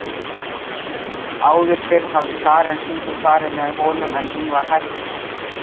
Áður fyrr hafði Karen stundum farið með honum en hún var hætt því.